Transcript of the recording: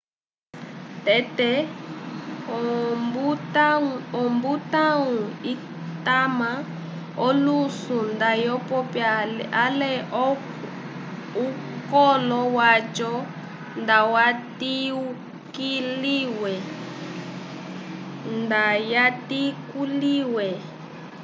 tete ombutãwu itama olusu ndayopiwa ale ukolo waco ndayatikuwile